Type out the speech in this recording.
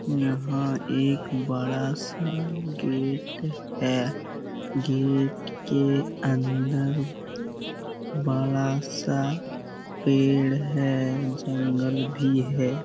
यहाँ एक बड़ा-सा गेट है गेट के अंदर बड़ा-सा पेड़ है जंगल भी है।